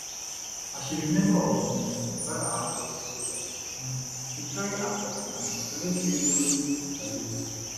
as she be member of um uganda armed forces sojas um bin carry her coffin and she collect threevolley salute